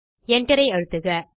Enter ஐ அழுத்துக